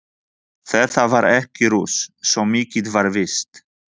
Þetta var ekki rusl, svo mikið var víst.